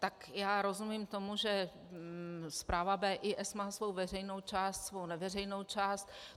Tak já rozumím tomu, že zpráva BIS má svou veřejnou část, svou neveřejnou část.